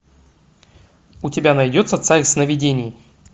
у тебя найдется царь сновидений